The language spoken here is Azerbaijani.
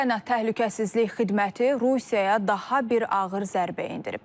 Ukrayna Təhlükəsizlik Xidməti Rusiyaya daha bir ağır zərbə endirib.